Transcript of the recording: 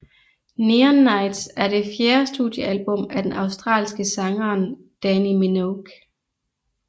Neon Nights er det fjerde studiealbum af den australske sangeren Dannii Minogue